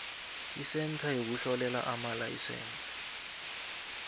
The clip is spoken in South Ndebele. isentha yokuhlolela amalayisense